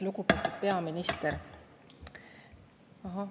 Lugupeetud peaminister!